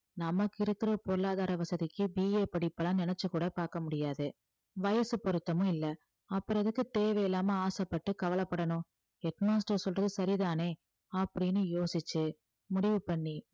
நமக்கு இருக்கிற பொருளாதார வசதிக்கு BA படிப்பெல்லாம் நினைச்சு கூட பார்க்க முடியாது வயசு பொருத்தமும் இல்லை அப்புறம் எதுக்கு தேவையில்லாம ஆசைப்பட்டு கவலைப்படணும் head master சொல்றது சரிதானே அப்படின்னு யோசிச்சு முடிவு பண்ணி